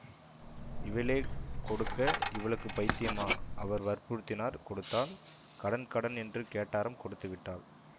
இவளே கொடுக்க இவளுக்குப் பைத்தியமா அவர் வற்புறுத்தினார் கொடுத்தாள் கடன் கடன் என்று கேட்டாராம் கொடுத்து விட்டாள்